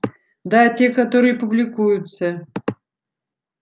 да те которые публикуются